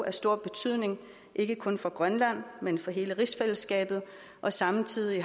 af stor betydning ikke kun for grønland men for hele rigsfællesskabet og samtidig